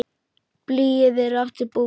Blýið er aftur búið.